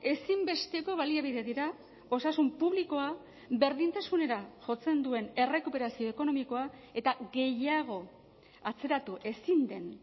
ezinbesteko baliabide dira osasun publikoa berdintasunera jotzen duen errekuperazio ekonomikoa eta gehiago atzeratu ezin den